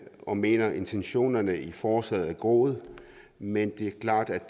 og mener at intentionerne i forslaget er gode men det er klart at